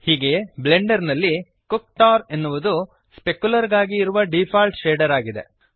ಹೀಗೆಯೇ ಬ್ಲೆಂಡರ್ ನಲ್ಲಿ ಕುಕ್ಟರ್ ಕುಕ್ಟೋರ್ ಎನ್ನುವುದು ಸ್ಪೆಕ್ಯುಲರ್ ಗಾಗಿ ಇರುವ ಡೀಫಾಲ್ಟ್ ಶೇಡರ್ ಆಗಿದೆ